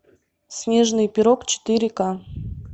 снежный пирог четыре ка